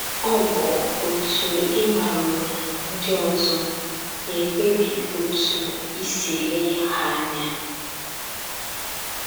Ọ bụ otú ị maruru ndị ọzọ na - ekpebi otú i si ele ha anya